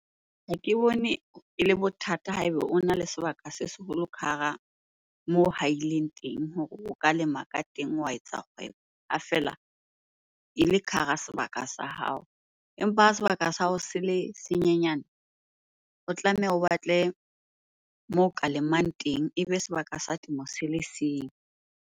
Ha ke bone ele bothata ha eba ona le sebaka se seholo ka hara moo haileng teng hore o ka lema ka teng wa etsa kgwebo ha feela ele ka hara sebaka sa hao. Empa ha sebaka sa hao se le senyenyane, o tlameha o batle moo o ka lemang teng, ebe sebaka sa temo se le seng.